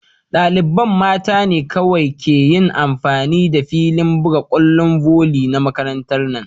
Dalibain mta ne kowai ke yin amfani da filin bugan kwallon voli na makarantan na.